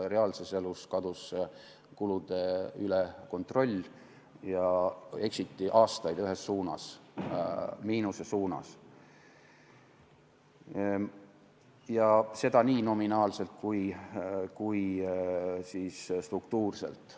Reaalses elus kadus kulude üle kontroll, eksiti aastaid ühes suunas, miinuse suunas, ja seda nii nominaalselt kui ka struktuurselt.